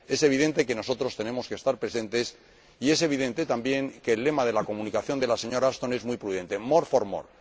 Es evidente que nosotros tenemos que estar presentes, y es evidente también que el lema de la comunicación de la señora Ashton es muy prudente more for more.